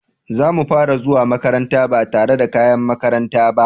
Zamu fara zuwa makaranta ba tare da kayan makaranta ba.